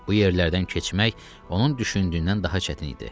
Bu yerlərdən keçmək onun düşündüyündən daha çətin idi.